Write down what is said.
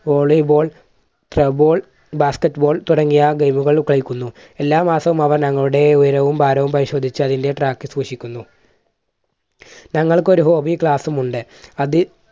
volyball, treball, basketball തുടങ്ങിയ game കൾ കളിക്കുന്നു. എല്ലാ മാസവും അവർ ഞങ്ങളുടെ ഉയരവും ഭാരവും പരിശോധിച്ച് അതിൻറെ track സൂക്ഷിക്കുന്നു. ഞങ്ങൾക്കൊരു hobbey class ഉം ഉണ്ട്. അത്